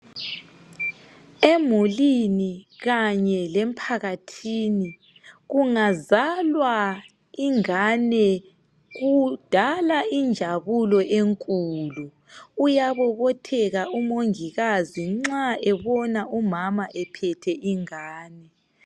Emulini kanye lemphakathini, kungazalwa ingane kudala injabulo enkulu. Uyabobotheka umongikazi nxa ebona umama ephethe ingane.